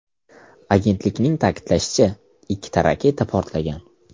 Agentlikning ta’kidlashicha, ikkita raketa portlagan.